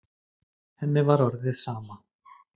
Henni var orðið sama.